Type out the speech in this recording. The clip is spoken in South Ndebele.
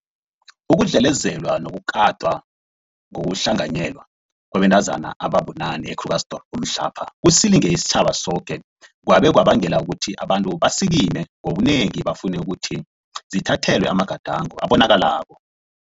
Ukudlelezelwa nokukatwa ngokuhlanganyelwa kwabantazana ababunane e-Krugersdorp mhlapha kusilinge isitjhaba soke kwabe kwabangela ukuthi abantu basikime ngobunengi bafune ukuthi zithathelwe amagadango abonakalako